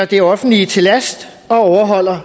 det offentlige til last